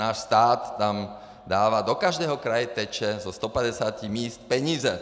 Náš stát tam dává, do každého kraje tečou ze 150 míst peníze.